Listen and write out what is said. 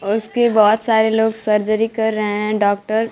उसके बहोत सारे लोग सर्जरी कर रहे हैं डॉक्टर --